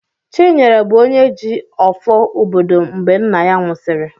Chinyere bụ onye ji "ọfọ" obodo mgbe nna ya nwụsịrị."